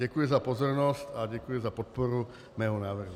Děkuji za pozornost a děkuji za podporu mého návrhu.